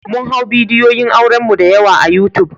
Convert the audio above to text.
Mun hau bidiyoyin auren mu da yawa a yutub.